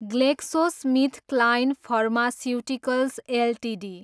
GlaxoSmithKline pharmaceuticals Ltd